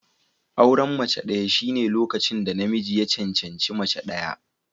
Auren mace ɗaya shine lokacin da namiji ya cancanci mace ɗaya.